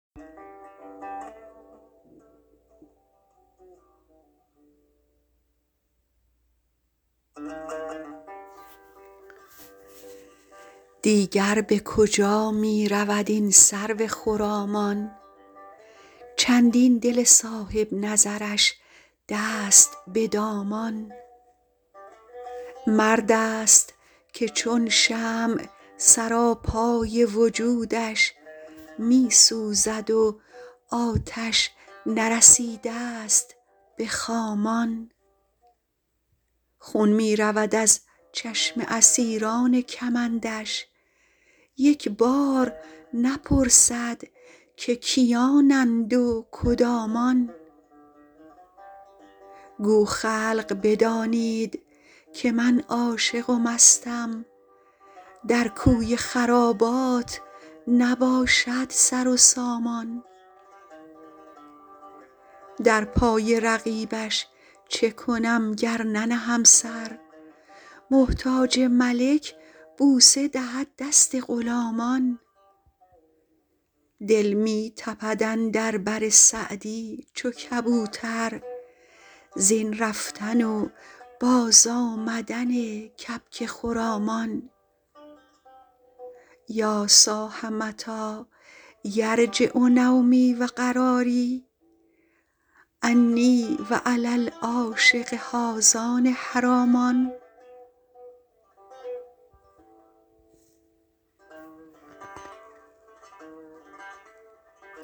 دیگر به کجا می رود این سرو خرامان چندین دل صاحب نظرش دست به دامان مرد است که چون شمع سراپای وجودش می سوزد و آتش نرسیده ست به خامان خون می رود از چشم اسیران کمندش یک بار نپرسد که کیانند و کدامان گو خلق بدانید که من عاشق و مستم در کوی خرابات نباشد سر و سامان در پای رقیبش چه کنم گر ننهم سر محتاج ملک بوسه دهد دست غلامان دل می تپد اندر بر سعدی چو کبوتر زین رفتن و بازآمدن کبک خرامان یا صاح متی یرجع نومی و قراری انی و علی العاشق هذان حرامان